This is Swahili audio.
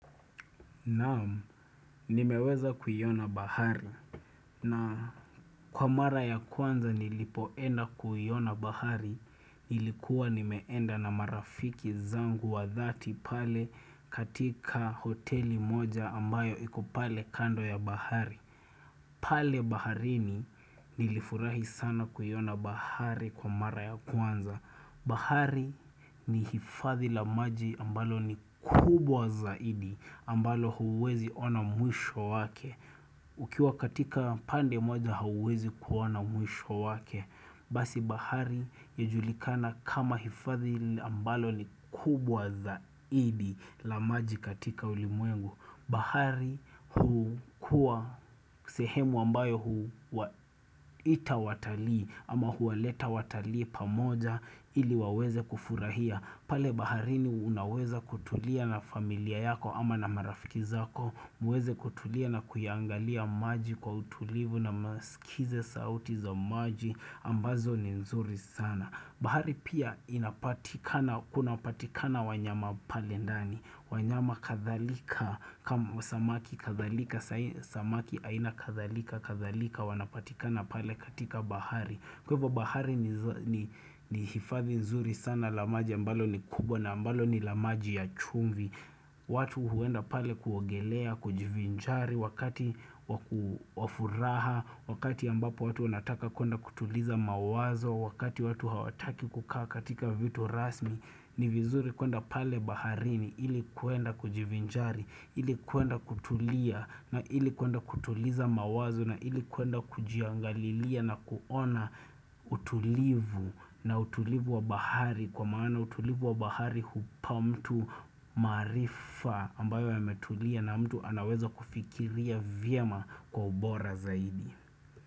Naam, nimeweza kuiona bahari, na kwa mara ya kwanza nilipoenda kuiona bahari ilikuwa nimeenda na marafiki zangu wa dhati pale katika hoteli moja ambayo iko pale kando ya bahari. Pale baharini nilifurahi sana kuiona bahari kwa mara ya kwanza bahari ni hifadhi la maji ambalo ni kubwa zaidi ambalo huwezi ona mwisho wake Ukiwa katika pande moja hauwezi kuona mwisho wake Basi bahari ya julikana kama hifadhi ambalo ni kubwa zaidi la maji katika ulimwengu. Bahari hukua sehemu ambayo hu ita watalii ama huwaleta watalii pamoja ili waweze kufurahia pale bahari ni unaweza kutulia na familia yako ama na marafiki zako muweze kutulia na kuya angalia maji kwa utulivu na masikize sauti za maji ambazo ni nzuri sana bahari pia inapatikana, kunapatikana wanyama pale ndani, wanyama kadhalika, kama samaki kadhalika, sai samaki aina kadhalika, kadhalika wanapatikana pale katika bahari. Bahari pia inapatikana, kunapatikana wanyama pale ndani, wanyama kadhalika, kama watu huenda pale kuogelea, kujivinjari wakati wa ku wa furaha wakati ambapo watu wanataka kuenda kutuliza mawazo wakati watu hawataki kukaa katika vitu rasmi ni vizuri kuenda pale baharini ili kuenda kujivinjari ili kuenda kutulia na ili kuenda kutuliza mawazo na ili kuenda kujiangalilia na kuona utulivu na utulivu wa bahari kwa maana utulivu wa bahari hupa mtu maarifa ambayo yametulia na mtu anaweza kufikiria vyema kwa ubora zaidi.